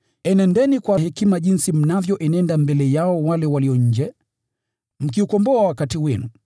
Enendeni kwa hekima mbele yao walio nje, mkiukomboa wakati.